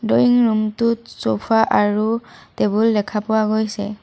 Drawing room টোত sofa আৰু table দেখা পোৱা গৈছে।